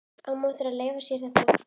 Á maður að leyfa sér þetta?